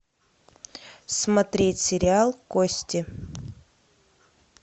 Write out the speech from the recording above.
смотреть сериал кости